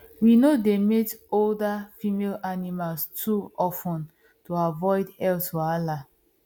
we no dey mate older female animals too of ten to avoid health wahala